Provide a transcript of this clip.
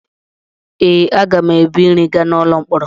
Ee, aga m ebu nri gaa n’ụlọ mkpọrọ.